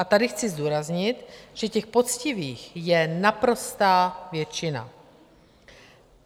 A tady chci zdůraznit, že těch poctivých je naprostá většina.